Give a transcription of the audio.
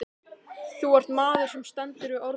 Þú ert maður sem stendur við orð þín.